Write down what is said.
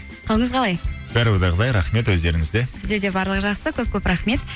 қалыңыз қалай бәрі ойдағыдай рахмет өздеріңізде бізде де барлығы жақсы көп көп рахмет